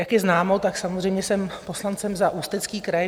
Jak je známo, tak samozřejmě jsem poslankyní za Ústecký kraj.